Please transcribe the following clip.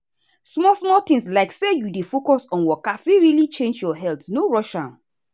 small-small things like say you dey focus on waka fit really change your health no rush am.